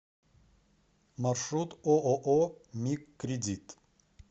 маршрут ооо мигкредит